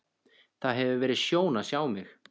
Það hefur verið sjón að sjá mig.